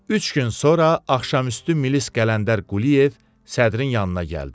Üç gün sonra axşamüstü Milis Qələndər Quliyev sədrin yanına gəldi.